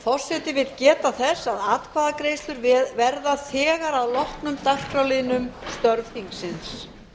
forseti vill geta þess að atkvæðagreiðslur verða þegar að loknum dagskrárliðnum störf þingsins